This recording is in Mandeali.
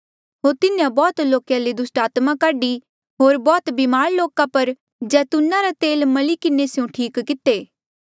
होर तिन्हें बौह्त लोका ले दुस्टात्मा काढी होर बौह्त बीमार लोका पर जैतूना रा तेल मली किन्हें स्यों ठीक किते